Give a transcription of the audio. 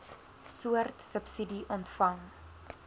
soort subsidie ontvang